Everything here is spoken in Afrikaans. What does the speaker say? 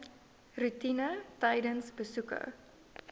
roetine tydens besoeke